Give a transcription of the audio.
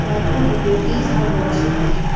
the two devotees are worshiping.